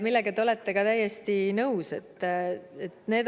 Sellega te olete ka täiesti nõus.